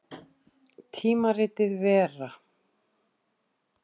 Tímaritið Vera.